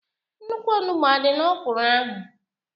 Nnukwu onugbo adị n'ọkwụrụ ahụ?